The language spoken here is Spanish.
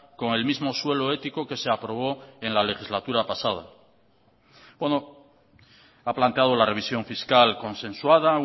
con el mismo suelo ético que se aprobó en la legislatura pasada bueno ha planteado la revisión fiscal consensuada